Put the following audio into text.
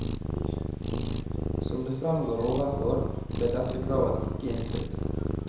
Som det fremgår overfor, ble dette kravet ikke innfridd.